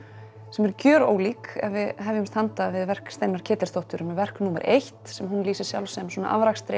sem eru gjörólík ef við handa við verk Steinunnar Ketilsdóttur með verk númer eitt sem hún lýsir sjálf sem svona